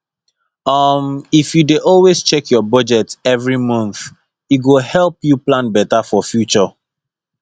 um if you dey always check your budget every month e go help you plan better for future